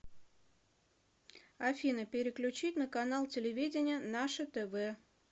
афина переключить на канал телевидения наше тв